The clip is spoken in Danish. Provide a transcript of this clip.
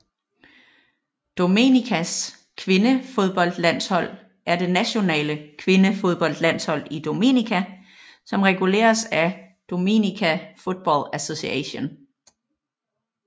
Dominicas kvindefodboldlandshold er det nationale kvindefodboldlandshold i Dominica som reguleres af Dominica Football Association